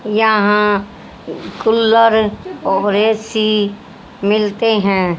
यहां कूलर और ए_सी मिलते हैं।